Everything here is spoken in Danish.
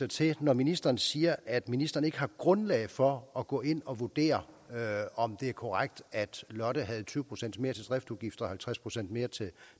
til når ministeren siger at ministeren ikke har grundlag for at gå ind og vurdere om det er korrekt at lotte havde tyve procent mere til driftsudgifter og halvtreds procent mere